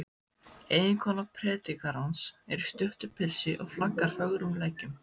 Eiginkona predikarans er í stuttu pilsi og flaggar fögrum leggjum.